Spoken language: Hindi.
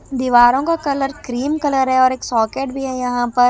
दीवारों का कलर क्रीम कलर है और एक सॉकेट भी है यहां पर--